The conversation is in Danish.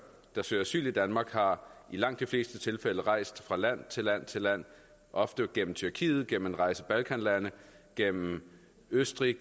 der søger asyl i danmark har i langt de fleste tilfælde rejst fra land til land til land ofte gennem tyrkiet gennem en række balkanlande gennem østrig